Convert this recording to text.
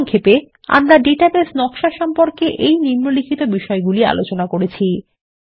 সংক্ষেপে আমরা ডাটাবেস নকশা সম্পর্কে এই নিম্নলিখিত বিষয়গুলি আলোচনা করেছি160 4